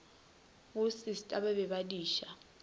bosista ba be ba diša